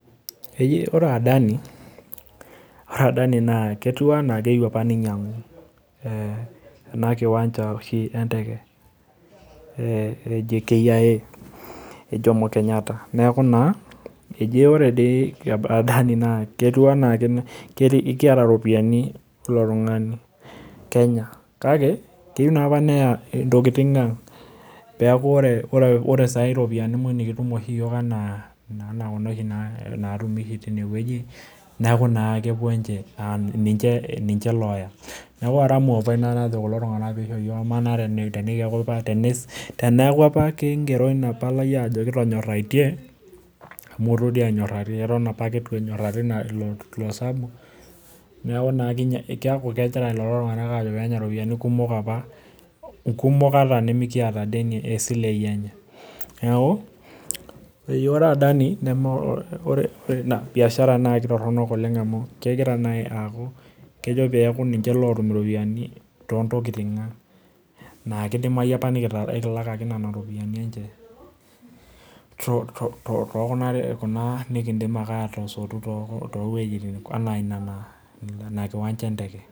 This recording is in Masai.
Eji ore adani, ore adani naa ketiu anaa keyeu apa neinyang'u ana nkiwanja oshi endeke enaji JKIA E Jomo Kenyatta naaku naa eji ore dei adani naa ketiuanaa keata iropiyiani ilo tunganu kenya, kake keyeu naa apa neyaa ntokitin aang' peaku ore saii iropiyiani weji nikitum oshi yook anaa kuna na oshi naatumi teineweji, naaku na kepo ninche, ninche looya, naaku aramu apa ina najo kulo tungana peisho yoo amaa naa, teneaku apa king'ero ina palai ajo kitonyoraitie ami doi enyorari eton apake eitu enyorari ilo osabu, naaku na kegira lelo tungana aajo peenya iropiyiani kumok apa, kumok ata nemikieta deni e silei enye, neaku ore adani nemee ore biashara enye naa ketoronok oleng amu kegira naii aaku kejo peaku ninche lootum iropiyiani too ntokitin aang' naa keidimai apa nikitalakaki nenia iropiyiani enche too kuna nikindim akae aatosot too wejitin anaa nena nkiwancha enteke.